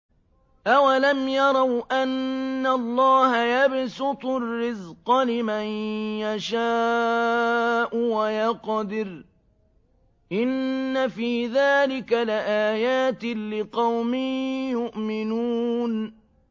أَوَلَمْ يَرَوْا أَنَّ اللَّهَ يَبْسُطُ الرِّزْقَ لِمَن يَشَاءُ وَيَقْدِرُ ۚ إِنَّ فِي ذَٰلِكَ لَآيَاتٍ لِّقَوْمٍ يُؤْمِنُونَ